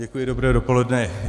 Děkuji, dobré dopoledne.